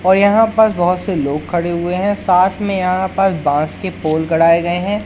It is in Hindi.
और यहां पर बहोत से लोग खड़े हुए हैं साथ में यहां पास बांस के पोल गड़ाए गए हैं।